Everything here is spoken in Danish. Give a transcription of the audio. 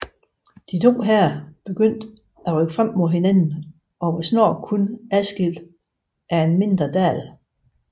De to hære begyndte at rykke frem mod hinanden og var snart kun adskilt af en mindre dal